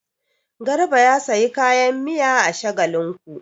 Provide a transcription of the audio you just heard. Garba ya sayi kayan miya a Shagalinku.